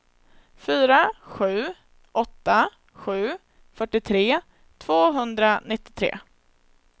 fyra sju åtta sju fyrtiotre tvåhundranittiotre